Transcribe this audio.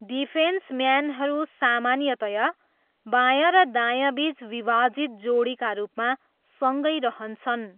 डिफेन्सम्यानहरू सामान्यतया बाँया र दायाँबिच विभाजित जोडीका रूपमा सँगै रहन्छन्।